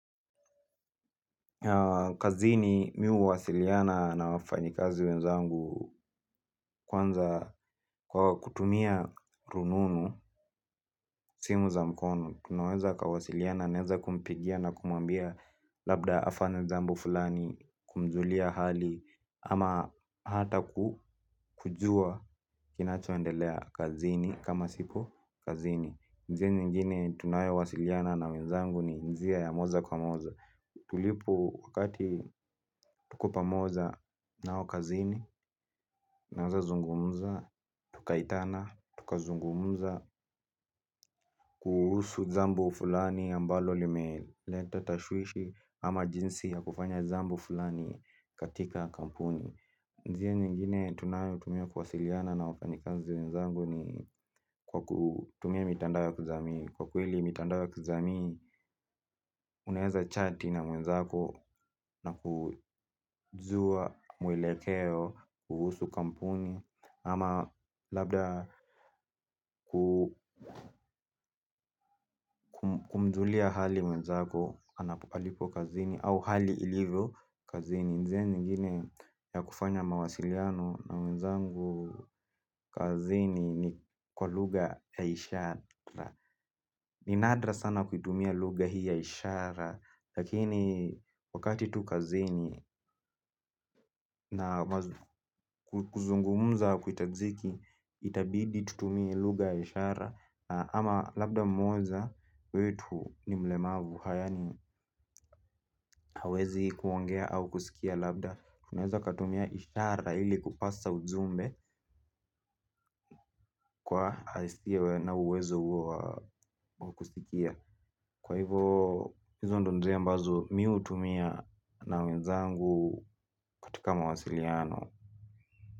Kazini mimi huwasiliana na wafanyikazi wenzangu kwanza kwa kutumia rununu simu za mkono tunaweza kuwasiliana naweza kumpigia na kumuambia labda afanye jambo fulani, kumjulia hali ama hata kujua kinachoendelea kazini kama sipo kazini. Njia nyingine tunayowasiliana na wenzangu ni njia ya moja kwa moja. Tulipo wakati tuko pamoja nao kazini naweza zungumza, tukaitana, tukazungumza, kuhusu jambo fulani ambalo limeleta tashwishi ama jinsi ya kufanya jambo fulani katika kampuni. Njia nyingine tunayotumia kuwasiliana na wafanyikazi wenzangu ni kwa kutumia mitandao ya kijamii. Kwa kweli mitandao ya kijamii, unaweza chati na mwenzako na kujua mwelekeo kuhusu kampuni. Ama labda kumjulia hali mwenzako alipo kazini au hali ilivyo kazini. Njia nyingine ya kufanya mawasiliano na wenzangu kazini ni kwa lugha ya ishara. Ni nadra sana kuitumia lugha hii ya ishara. Lakini wakati tu kazini na kuzungumza hakuitajiki itabidintutumie lugha ya ishara ama labda mmoja wetu ni mlemavu. Haya ni hawezi kuongea au kusikia labda. Tunaweza katumia ishara ili kupaza ujumbe kwa asio na uwezo huo wa kusikia. Kwa hivo hizo ndio njia ambazo mimi hutumia na wenzangu katika mawasiliano.